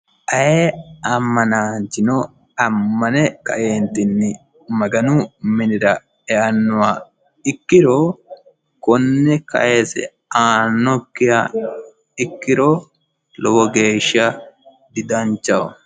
ayee ammanaanchino ammane kae maganu minira eannoha ikkiro, konne kayiise aannokkiha ikkiro lowo geeshsha didanchaho.